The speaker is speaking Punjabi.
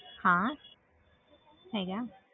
ਹਾਂ ਹੈਗਾ